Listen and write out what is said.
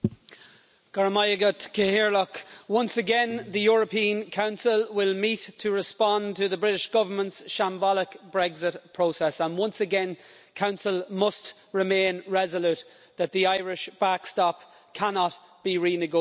Madam President, once again the European Council will meet to respond to the British Government's shambolic Brexit process, and once again the Council must remain resolute that the Irish backstop cannot be renegotiated.